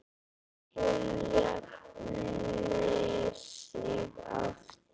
Svo hún jafni sig aftur.